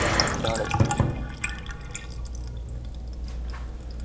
દ્રઢતા